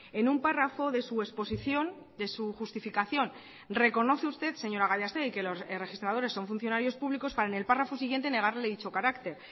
en un párrafo de su exposición de su justificación reconoce usted señora gallastegui que los registradores son funcionarios públicos para en el párrafo siguiente negarle dicho carácter